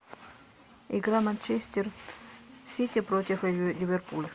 игра манчестер сити против ливерпуль